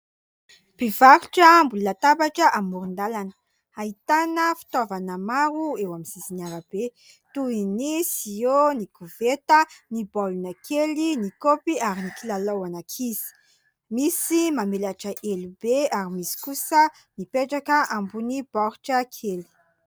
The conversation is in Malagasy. Mpivarotra ambony latabatra amoron-dalana. Ahitana fitaovana maro eo amin'ny sisin'ny arabe toy ny siô, ny koveta, ny baolina kely, ny kaopy ary ny kilalao ho an'ankizy. Misy mamelatra elo be ary misy kosa mipetraka ambony baoritra kely.